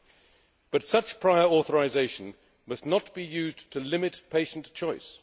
However, such prior authorisation must not be used to limit patient